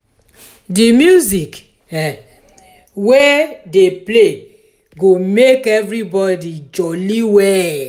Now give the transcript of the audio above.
di music um wey dey play go make everybody jolly well.